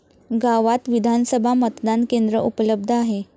गावात विधानसभा मतदान केंद्र उपलब्ध आहे.